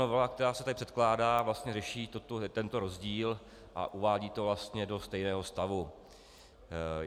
Novela, která se tady předkládá, vlastně řeší tento rozdíl a uvádí to vlastně do stejného stavu.